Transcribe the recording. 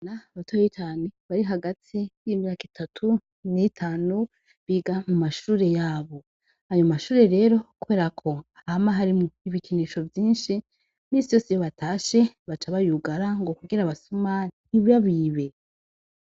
Na gatoyi kaje kari hagati y'imyaka itatu n'itanu biga mu mashure yabo, ayo mashure rero kuberako hama harimwo ibikinisho vyinshi misi yose iyo batashe baca bayugara ngo kugira abasuma ntibabibe.